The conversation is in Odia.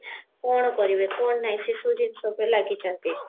କଣ କରିବେ କଣ ନାଇଁ ସେସବୁ ଜିନିଷ ଉପରେ ଲାଗିଛନ୍ତି